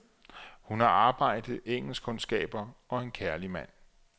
Hun har arbejde, engelskkundskaber og en kærlig mand.